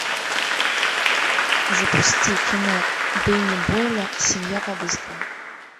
запусти кино дени бойла семья по быстрому